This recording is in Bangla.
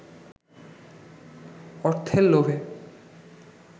অর্থের লোভে